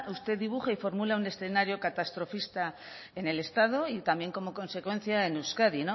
usted dibuja y formula un escenario catastrofista en el estado y también como consecuencia en euskadi